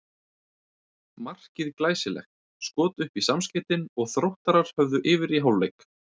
Markið glæsilegt, skot upp í samskeytin og Þróttarar höfðu yfir í hálfleik.